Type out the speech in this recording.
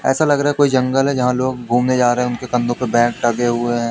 ऐसा लग रहा है कोई जंगल है जहां लोग घूमने जा रहे हैं उनके कंधों पे बैंग टंगे हुए हैं।